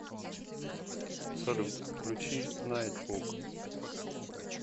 салют включи найтбук